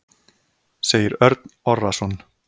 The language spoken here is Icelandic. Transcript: Segir Örn Orrason.